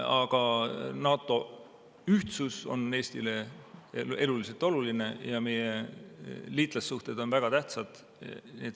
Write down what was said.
Aga NATO ühtsus on Eestile eluliselt oluline ja meie liitlassuhted on väga tähtsad.